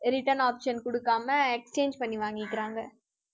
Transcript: return option குடுக்காம exchange பண்ணி வாங்கிக்கிறாங்க